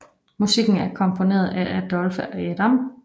Musikken er komponeret af Adolphe Adam